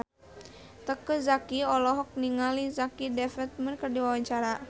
Teuku Zacky olohok ningali Jack Davenport keur diwawancara